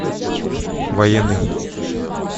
военный